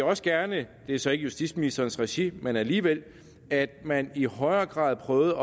også gerne det er så ikke i justitsministerens regi men alligevel at man i højere grad prøvede